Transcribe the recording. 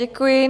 Děkuji.